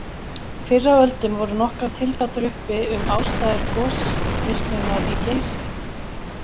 Fyrr á öldum voru nokkrar tilgátur uppi um ástæður gosvirkninnar í Geysi.